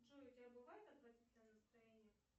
джой у тебя бывает отвратительное настроение